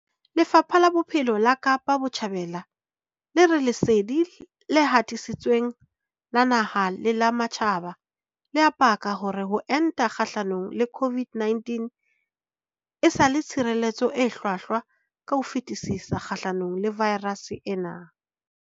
Lefapha la Bophelo la Kapa Botjhabela le re lesedi le hatisitsweng la naha le la matjhaba le a paka hore ho enta kgahlano le COVID-19 e sa le tshireletso e hlwahlwa ka ho fetisisa kgahlano le vaerase ena.